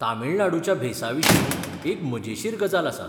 तमिळनाडुच्या भेसाविशीं एक मजेशीर गजाल आसा.